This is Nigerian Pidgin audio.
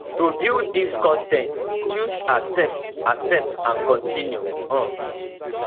to view dis con ten t choose accept accept and continue um